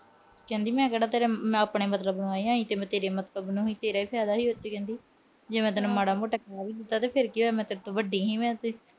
ਕਹਿੰਦੀ ਮੈਂ ਕਿਹੜਾ ਆਪਣੇ ਮਤਲਬ ਨੂੰ ਆਈ ਆ। ਆਈ ਤਾਂ ਤੇਰੇ ਈ ਮਤਲਬ ਨੂੰ ਸੀ। ਤੇਰਾ ਈ ਫਾਇਦਾ ਸੀ ਕਹਿੰਦੀ। ਜੇ ਮੈਂ ਮਾੜਾ ਮੋਟਾ ਕਹਿ ਵੀ ਦਿੱਤਾ ਫਿਰ ਕੀ ਹੋਇਆ ਮੈਂ ਤੇਰੇ ਤੋਂ ਵੱਡੀ ਸੀ ਮੈਂ ਤੇ